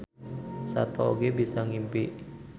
Sato oge bisa ngimpi